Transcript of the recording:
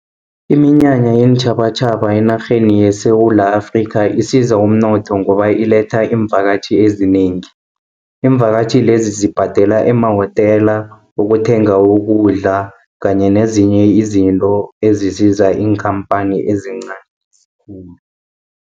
Iminyanya yeentjhabatjhaba enarheni yeSewula Afrika, isiza umnotho ngoba iletha iimvakatjhi ezinengi. Iimvakatjhi lezi zibhadela emahotela, ukuthenga ukudla, kanye nezinye izinto ezisiza iinkhampani ezincani khulu.